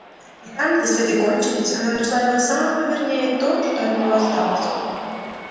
и там где следы кончились она нашла его самого вернее то что от него осталось